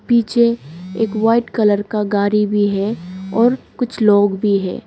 पीछे एक white colour का गाड़ी भी है और कुछ लोग भी है।